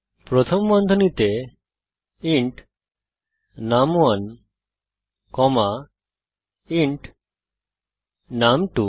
প্রথম বন্ধনীতে int num one comma int নুম2